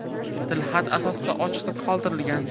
tilxat asosida ochiqda qoldirilgan.